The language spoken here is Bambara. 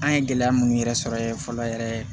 An ye gɛlɛya mun yɛrɛ sɔrɔ ye fɔlɔ yɛrɛ